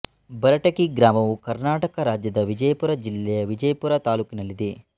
ಬರಟಗಿ ಗ್ರಾಮವು ಕರ್ನಾಟಕ ರಾಜ್ಯದ ವಿಜಯಪುರ ಜಿಲ್ಲೆಯ ವಿಜಯಪುರ ತಾಲ್ಲೂಕಿನಲ್ಲಿದೆ